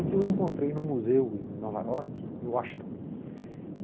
Um dia eu o encontrei num museu em Nova York, em Washington.